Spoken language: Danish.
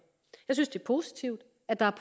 jeg synes det er positivt at der